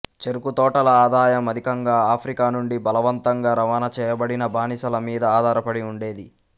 చెరకుతోటల ఆదాయం అధికంగా ఆఫ్రికా నుండి బలవంతంగా రవాణాచేయబడిన బానిసల మీద ఆధారపడి ఉండేది